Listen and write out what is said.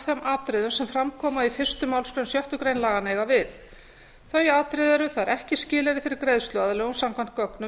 þeim atriðum sem fram koma í fyrstu málsgrein sjöttu grein laganna eiga við þau atriði eru það er ekki skilyrði fyrir greiðsluaðlögun samkvæmt gögnum